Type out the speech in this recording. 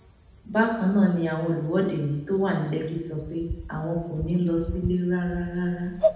bákan náà ni àwọn olùwọde yìí tó wà ní lẹkì sọ pé àwọn kò ní í lọ sílé rárá rárá